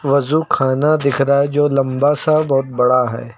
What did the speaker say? वज़ू खाना दिख रहा है जो लंबा सा बहुत बड़ा है।